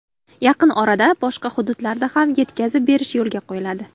Yaqin orada boshqa hududlarda ham yetkazib berish yo‘lga qo‘yiladi.